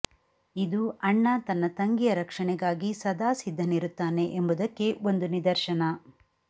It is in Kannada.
ಇದು ಅಣ್ಣ ತನ್ನ ತಂಗಿಯ ರಕ್ಷಣೆಗಾಗಿ ಸದಾ ಸಿದ್ಧನಿರುತ್ತಾನೆ ಎಂಬುದಕ್ಕೆ ಒಂದು ನಿದರ್ಶನ